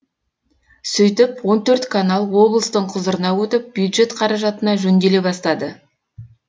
сөйтіп он төрт канал облыстың құзырына өтіп бюджет қаражатына жөнделе бастады